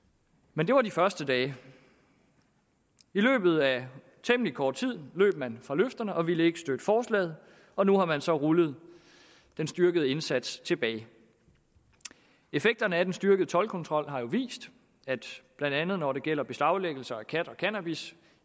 men det var de første dage i løbet af temmelig kort tid løb man fra løfterne og ville ikke støtte forslaget og nu har man så rullet den styrkede indsats tilbage effekterne af den styrkede toldkontrol har jo vist at blandt andet når det gælder beslaglæggelse af kat og cannabis